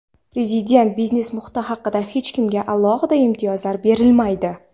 Prezident biznes muhiti haqida: "Hech kimga alohida imtiyozlar berilmaydi".